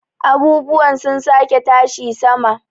abubuwa sun sake tashi sama